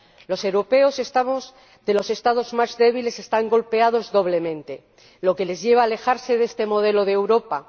Los europeos de los Estados más débiles están golpeados doblemente, lo que les lleva a alejarse de este modelo de Europa.